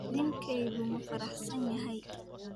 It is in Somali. Ninkeedu ma faraxsan yahay?